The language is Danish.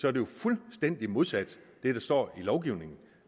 er det jo fuldstændig modsat det der står i lovgivningen